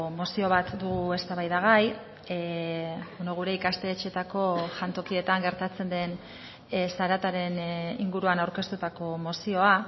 mozio bat dugu eztabaidagai gure ikastetxeetako jantokietan gertatzen den zarataren inguruan aurkeztutako mozioa